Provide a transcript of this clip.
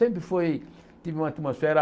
Sempre foi tive uma atmosfera...